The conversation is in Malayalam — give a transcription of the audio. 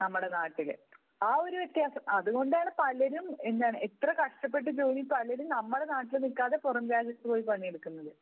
നമ്മുടെ നാട്ടിൽ. ആ ഒരു വ്യത്യാസം, അതു കൊണ്ടാണ് പലരും എന്താണ് എത്ര കഷ്ടപ്പെട്ട് ജോലിയെടുത്താലും പലരും നമ്മുടെ നാട്ടിൽ നിൽക്കാതെ പുറം രാജ്യത്ത് പോയി പണിയെടുക്കുന്നത്